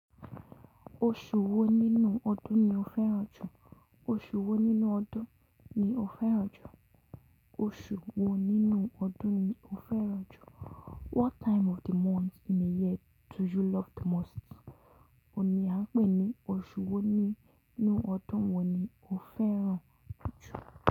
Oṣù wo nínú ọdún ni o fẹ́ràn jù? Oṣù wo nínú ọdún ni o fẹ́ràn jù? Oṣù wo nínú ọdún ni o fẹ́ràn jù? What time of the month in a year do you love the most? Òní à ń pè ní oṣù wo nínú ọdún wo ni o fẹ́ràn jù?